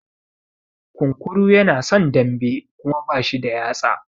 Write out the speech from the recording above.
Kunkuru yana son dambe Kuma bashi da yatsa.